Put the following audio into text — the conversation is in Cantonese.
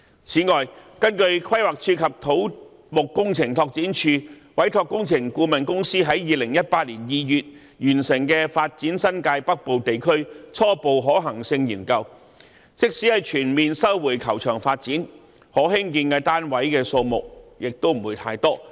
此外，根據規劃署及土木工程拓展署委託工程顧問公司在2018年2月完成的《發展新界北部地區初步可行性研究》，即使全面收回高爾夫球場發展，可興建的單位數目不會太多。